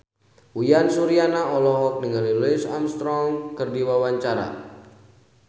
Uyan Suryana olohok ningali Louis Armstrong keur diwawancara